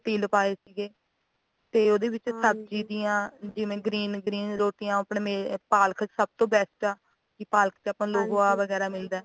ਵਿੱਚ ਤਿਲ ਪਾਏ ਸੀਗੇ ਤੇ ਉਹਦੇ ਵਿੱਚ ਸਬਜ਼ੀ ਦੀਆਂ ਜਿਵੇਂ green green ਰੋਟੀਆਂ ਪਾਲਕ ਸਭ ਤੋਂ best ਆ ਵੀ ਪਾਲਕ ਵਿੱਚ ਆਪਾ ਨੂੰ ਲੋਹਾ ਵਗੈਰਾ ਮਿਲਦਾ